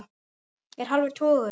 Er hálfur tugur.